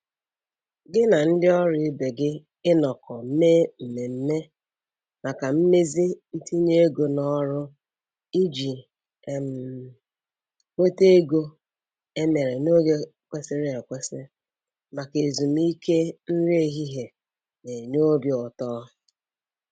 Gị na ndị ọrụ ibe gị ịnọkọ mee mmemme maka mmezi ntinye ego n'ọrụ iji um nweta ego e mere n'oge kwesịrị ekwesị maka ezumike nri ehihie na-enye obi ụtọ.